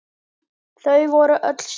Þau voru öll saman.